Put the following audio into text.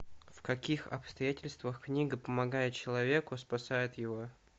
в каких обстоятельствах книга помогает человеку спасает его